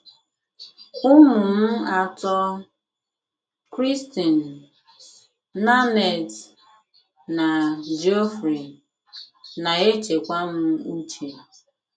Ụmụ m atọ — Christine, Nanette, na Geoffrey — na - echekwa m uche.